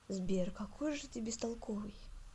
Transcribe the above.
сбер какой же ты бестолковый